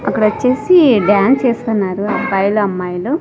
అక్కడ వచ్చేసి డ్యాన్స్ చేస్తున్నారు అబ్బాయిలు అమ్మాయిలు.